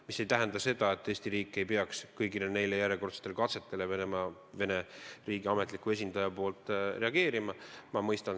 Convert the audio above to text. Mis ei tähenda aga seda, et Eesti riik ei peaks kõigile neile järjekordsetele Vene riigi ametliku esindaja poolsetele sammudele reageerima.